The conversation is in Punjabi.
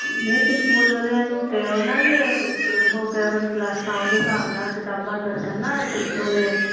ਨਹੀਂ ਤੇ ਸਕੂਲ ਵਾਲਿਆਂ ਨੂੰ ਕਹਿਓ ਨਾ ਕੇ ਕੇ ਉਹ ਕਰਨ ਕਲਾਸਾਂ ਓਦੇ ਸਾਬ ਨਾਲ ਕਿਤਾਬਾਂ ਦਸਣ ਨਾ ਓਦੇ